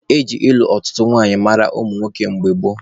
Eji ịlụ ọtụtụ nwanyị mara ụmụ nwoke mgbe gboo.